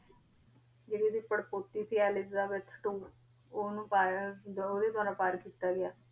ਜੇਰੀ ਏਡੀ ਪਰ੍ਪੋਤੀ ਸੀ ਏਲਿਜ਼ਾਬੇਥ ਟ੍ਵੋ ਓਨੁ ਪਾਯਾ ਮਤਲਬ ਓਦੇ ਦਵਾਰਾ ਪਰ ਕੀਤਾ ਗਯਾ